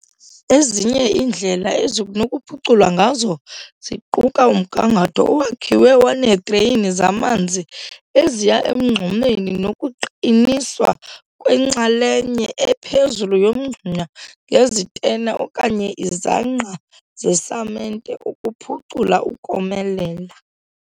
Ezinye iindlela ezinokuphuculwa ngazo ziquka umgangatho owakhiwe waneedreyini zamanzi eziya emngxumeni nokuqiniswa kwenxalenye ephezulu yomngxuma ngezitena okanye izangqa zesamente ukuphucula ukomelela.